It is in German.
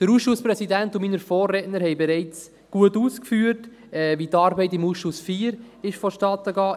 Der Ausschusspräsident und meine Vorredner haben bereits gut ausgeführt, wie die Arbeit im Ausschuss IV vonstattenging.